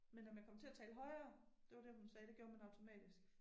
Men om jeg kom til at tale højere. Det var det hun sagde det gjorde man automatisk